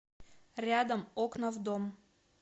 рядом окна в дом